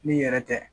N'i yɛrɛ tɛ